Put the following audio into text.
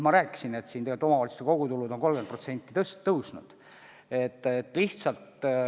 Ma rääkisin, et omavalitsuste kogutulud on 30% tõusnud.